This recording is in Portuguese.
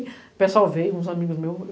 O pessoal veio, uns amigos meus.